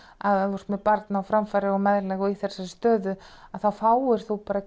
að ef þú ert með barn á framfæri og meðlag og í þessari stöðu að þá fáir þú bara